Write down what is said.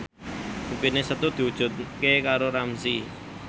impine Setu diwujudke karo Ramzy